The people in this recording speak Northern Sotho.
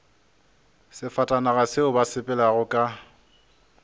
sefatanaga seo ba sepelago ka